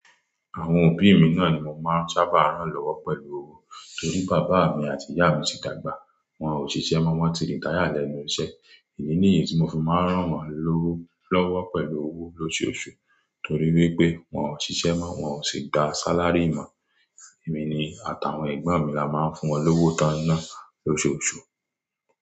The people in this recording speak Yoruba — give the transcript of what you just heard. Àwọn òbí mi náà ni mo máa ń sábà rán lọ́wọ́ pẹ̀lú owó torí bàbá mi àti ìyá mi ti dàgbà. Wọn ò ṣiṣẹ́ mọ́, wọ́n ti retire lẹ́nu iṣẹ́. Èyí ní yí tí mo fi máa ń rán wọ́n lọ́wọ́ pẹ̀lú owó lóṣooṣù torí wípé wọ́n ò ṣiṣẹ́ mọ́, wọ́n ò sì gba sálárì mọ́. Èmi ni àtàwọn ẹ̀gbọ́n mi la máa ń fún wọn lówó tán iná lóṣooṣù.